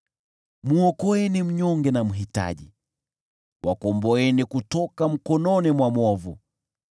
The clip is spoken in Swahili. Mwokoeni mnyonge na mhitaji, wakomboeni kutoka mkononi mwa mwovu.